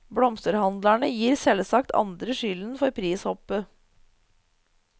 Blomsterhandlerne gir selvsagt andre skylden for prishoppet.